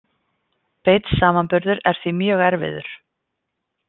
Beinn samanburður er því mjög erfiður.